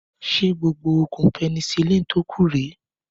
Ṣé gbogbo oògùn penicilin tó kù rèé